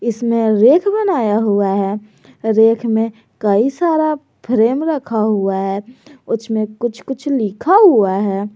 इसमें रैक बनाया हुआ है रैक में कई सारा फ्रेम रखा हुआ है उसमें कुछ कुछ लिखा हुआ है।